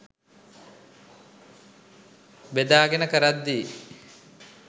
බෙදාගෙන කරද්දි